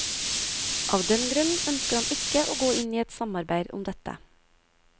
Av den grnn ønsker han ikke å gå inn i et samarbeid om dette.